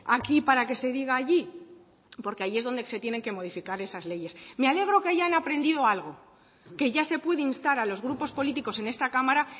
aquí para que se diga allí porque allí es donde se tienen que modificar esas leyes me alegro que hayan aprendido algo que ya se puede instar a los grupos políticos en esta cámara